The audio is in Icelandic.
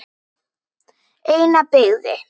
Eina byggði